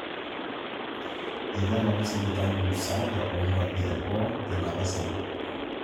Eitu eng'amu sipitali musaada o nkuapi eboo tenkata sapuk